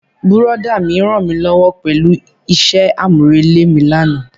Brọ̀dá mi rànmílówó pẹ̀lú isẹ́ àmúrelé mi lánàá.